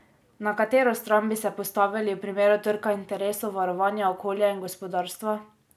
Na katero stran bi se postavili v primeru trka interesov varovanja okolja in gospodarstva?